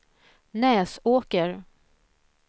Näsåker